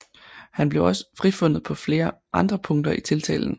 Han blev også frifundet på flere andre punkter i tiltalen